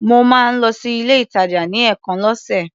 Mo máa ń lọ sí ilé-ìtàjà ní ẹ̀ẹ̀kan lọ́sè.